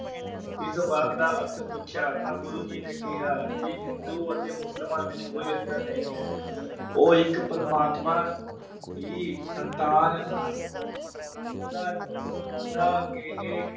ਇਸ ਵਾਕ ਦਾ ਅਰਥ ਪੁੱਛਿਆ ਤਾ ਤੇ ਗੁਰੂ ਜੀ ਨੇ ਕਿਹਾ ਕਿ ਹਿੰਦੂ ਅਤੇ ਮੁਸਲਮਾਨ ਵਿਚ ਕੋਈ ਅੰਤਰ ਨਹੀਂ ਹੈ ਉਹ ਇਕ ਪ੍ਰਮਾਤਮਾ ਦੀ ਸੰਤਾਨ ਹਨ। ਉਨਾਂਉਨਾਂ ਕੇਹੇ।